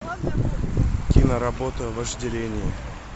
киноработа вожделение